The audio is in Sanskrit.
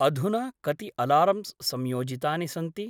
अधुना कति अलार्म्स् संयोजितानि सन्ति?